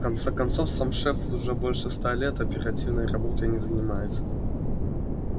в конце концов сам шеф уже больше ста лет оперативной работой не занимается